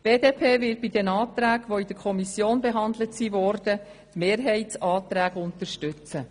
Die BDP wird bei den Anträgen, die in der Kommission behandelt wurden, die Mehrheitsanträge unterstützen.